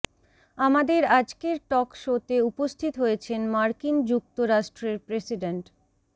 আমাদের আজকের টক শোতে উপস্থিত হয়েছেন মার্কিন যুক্তরাষ্ট্রের প্রেসিডেন্ট